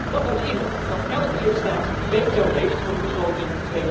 Dat houdt in dat elke lidstaat veto heeft voor de begroting